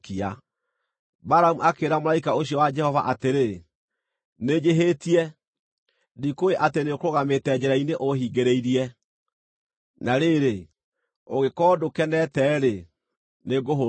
Balamu akĩĩra mũraika ũcio wa Jehova atĩrĩ, “Nĩnjĩhĩtie. Ndikũũĩ atĩ nĩũkũrũgamĩte njĩra-inĩ ũhingĩrĩirie. Na rĩrĩ, ũngĩkorwo ndũkenete-rĩ, nĩngũhũndũka.”